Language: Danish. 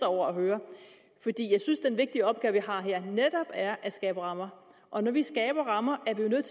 over at høre fordi jeg synes at den vigtige opgave vi har her netop er at skabe rammer og når vi skaber rammer